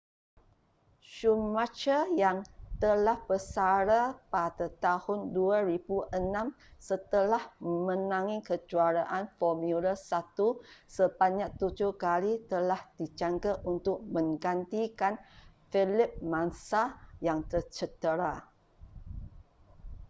schumacher yang telah bersara pada tahun 2006 setelah memenangi kejuaraan formula 1 sebanyak tujuh kali telah dijangka untuk menggantikan felipe massa yang tercedera